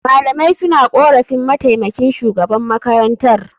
Malamai suna korafin mataimakin shugaban makarantar.